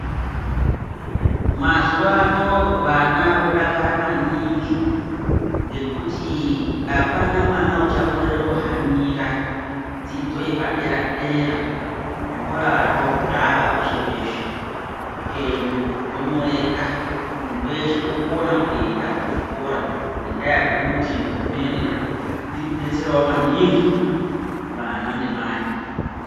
Mazuvano vana vodakara maningi ngekuti apana mwana uchakorera kuhanira dzidzo yepadera dera. Zvikorazvo zvaakwa peshe peshe zvonyoreka. Muntu weshe wokona kuenda kuchikora ngenda yekuti hurumende irikubetserawo maningi vana ngemare.